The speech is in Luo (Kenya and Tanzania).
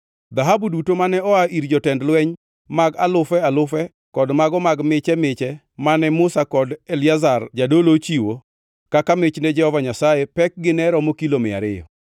Dhahabu duto mane oa ir jotend lweny mag alufe alufe kod mago mag miche miche mane Musa kod Eliazar jadolo ochiwo kaka mich ne Jehova Nyasaye pekgi ne romo kilo mia ariyo.